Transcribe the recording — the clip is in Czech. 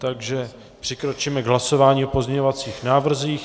Takže přikročíme k hlasování o pozměňovacích návrzích.